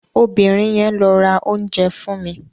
Obìnrin yẹn lo ra oúnjẹ fún mi.